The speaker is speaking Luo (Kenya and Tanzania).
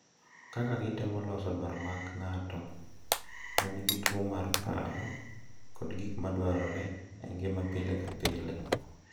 Kaka gitemo loso dwaro mag ng’at ma nigi tuwo mar paro kod gik ma dwarore e ngima pile ka pile.